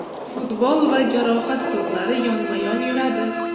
Futbol va jarohat so‘zlari yonma-yon yuradi.